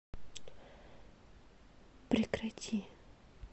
прекрати